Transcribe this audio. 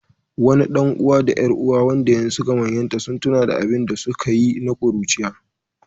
Wani ɗan’uwa da ƴar’uwa, waɗanda yanzu suka manyanta, sun tuna da abin da suka yi na ƙuruciya.